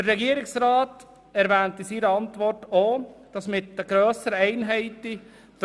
Der Regierungsrat schreibt in seiner Antwort auch, dass der Organisationsaufwand mit grösseren Einheiten zunähme.